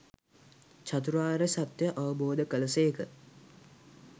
චතුරාර්ය සත්‍යය අවබෝධ කළ සේක.